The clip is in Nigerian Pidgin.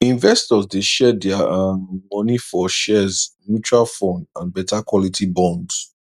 investors dey share dia um money for shares mutual fund and better quality bonds